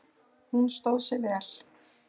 Hún stóð sig vel